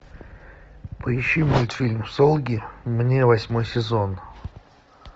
поищи мультфильм солги мне восьмой сезон